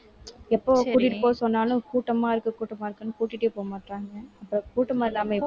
எப்போ கூட்டிட்டு போக சொன்னாலும் கூட்டமா இருக்கு கூட்டமா இருக்குன்னு கூட்டிட்டே போகமாட்டேன்றாங்க. அப்ப கூட்டமா இல்லாம எப்படி?